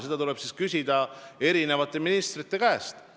Seda tuleb küsida ministrite käest.